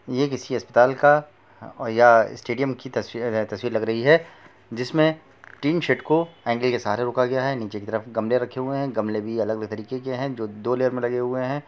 ये किसी अस्पताल का और या स्टेडियम की तस्वीरें हैं तस्वीर लग रही है जिसमें टीन शेड को एंगल के सहारे रोका गया है नीचे की तरफ गमले रखे हुए हैं गमले भी अलग-अलग तरीके के हैं जो दो लेयर में लगे हुए हैं।